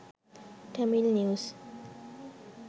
tamil news